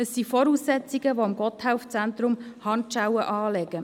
Es sind Voraussetzungen, die dem Gotthelf-Zentrum Handschellen anlegen.